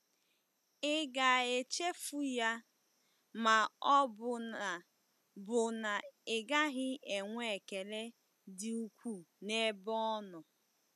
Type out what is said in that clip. Ị ga-echefu ya, ma ọ bụ na bụ na ị gaghị enwe ekele dị ukwuu n'ebe ọ nọ?